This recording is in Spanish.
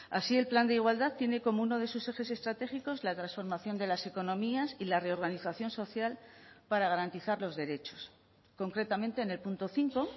así el plan de igualdad tiene como uno de sus ejes estratégicos la transformación de las economías y la reorganización social para garantizar los derechos concretamente en el punto cinco